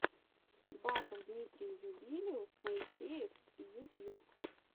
батл дмитрий ньюбилиус моисеев ютьюб